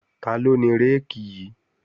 Taló ni réèkì yí?